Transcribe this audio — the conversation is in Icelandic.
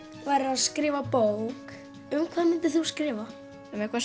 værir að skrifa bók um hvað myndir þú skrifa um eitthvað